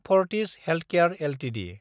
Fortis healthcare Ltd